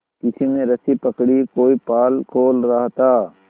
किसी ने रस्सी पकड़ी कोई पाल खोल रहा था